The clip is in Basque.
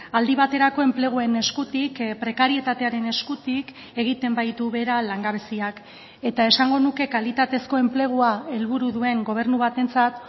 aldi baterako enpleguen eskutik prekarietatearen eskutik egiten baitu behera langabeziak eta esango nuke kalitatezko enplegua helburu duen gobernu batentzat